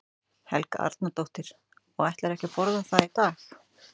Helga Arnardóttir: Og ætlarðu ekki að borða það í dag?